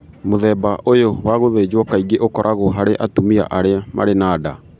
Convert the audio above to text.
Mũthemba ũyũ wa gũthĩnjwo kaingĩ ũkoragwo harĩ atumia arĩa marĩ na nda.